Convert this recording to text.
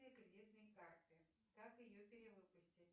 кредитной карты как ее перевыпустить